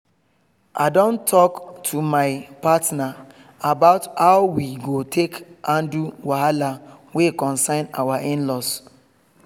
i don talk to my partner about how we go take handle wahala wey concern our in-laws